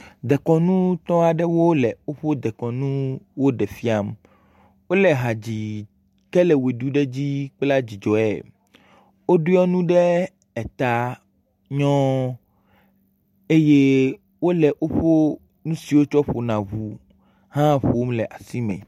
Dekɔnutɔ aɖewo le woƒe dekɔnu ɖe fia. Wole ha dzi ke le we ɖu ɖe dzi kple dzidzɔe. woɖɔ enu ɖe eta nyɔɔ eye wole woŋu o ŋutsu dzo tsɔ ƒona ɔuwo hã ƒo le asi me.